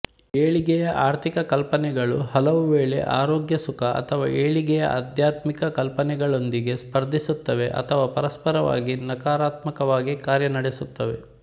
ಏಳಿಗೆಯ ಆರ್ಥಿಕ ಕಲ್ಪನೆಗಳು ಹಲವುವೇಳೆ ಆರೋಗ್ಯ ಸುಖ ಅಥವಾ ಏಳಿಗೆಯ ಆಧ್ಯಾತ್ಮಿಕ ಕಲ್ಪನೆಗಳೊಂದಿಗೆ ಸ್ಪರ್ಧಿಸುತ್ತವೆ ಅಥವಾ ಪರಸ್ಪರವಾಗಿ ನಕಾರಾತ್ಮಕವಾಗಿ ಕಾರ್ಯನಡೆಸುತ್ತವೆ